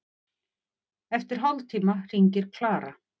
Eftir hálftíma hringir Klara.